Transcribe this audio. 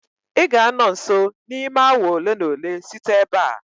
ị ga-anọ nso n'ime awa ole na ole site ebe a